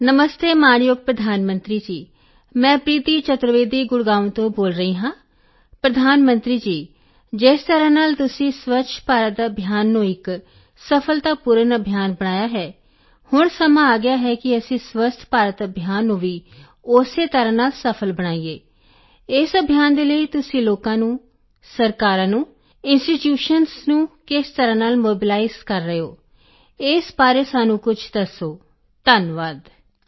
phone ਨਮਸਤੇ ਮਾਣਯੋਗ ਪ੍ਰਧਾਨ ਮੰਤਰੀ ਜੀ ਮੈਂ ਪ੍ਰੀਤੀ ਚਤੁਰਵੇਦੀ ਗੁੜਗਾਉਂ ਤੋਂ ਬੋਲ ਰਹੀ ਹਾਂਪ੍ਰਧਾਨ ਮੰਤਰੀ ਜੀ ਜਿਸ ਤਰ੍ਹਾਂ ਨਾਲ ਤੁਸੀਂ ਸਵੱਛ ਭਾਰਤ ਅਭਿਆਨ ਨੂੰ ਇੱਕ ਸਫ਼ਲਤਾਪੂਰਨ ਅਭਿਆਨ ਬਣਾਇਆ ਹੈ ਹੁਣ ਸਮਾਂ ਆ ਗਿਆ ਹੈ ਕਿ ਅਸੀਂ ਸਵੱਸਥ ਭਾਰਤ ਅਭਿਆਨ ਨੂੰ ਵੀ ਉਸੇ ਤਰ੍ਹਾਂ ਨਾਲ ਸਫ਼ਲ ਬਣਾਈਏ ਇਸ ਅਭਿਆਨ ਦੇ ਲਈ ਤੁਸੀਂ ਲੋਕਾਂ ਨੂੰ ਸਰਕਾਰਾਂ ਨੂੰ ਇੰਸਟੀਟਿਊਸ਼ਨਜ਼ ਨੂੰ ਕਿਸ ਤਰ੍ਹਾਂ ਨਾਲ ਮੋਬੀਲਾਈਜ਼ ਕਰ ਰਹੇ ਹੋ ਇਸ ਬਾਰੇ ਸਾਨੂੰ ਕੁਝ ਦੱਸੋਧੰਨਵਾਦ